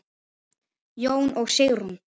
Jón og Sigrún.